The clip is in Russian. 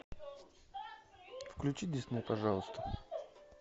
включи дисней пожалуйста